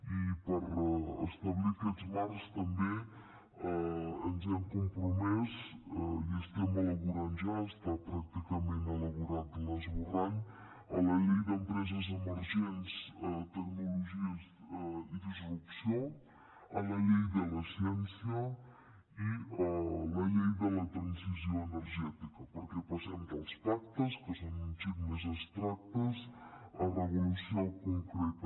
i per establir aquests marcs també ens hem compromès i ho estem elaborant ja està pràcticament elaborat l’esborrany a la llei d’empreses emergents tecnologies i disrupció a la llei de la ciència i a la llei de la transició energètica perquè passem dels pactes que són un xic més abstractes a regulació concreta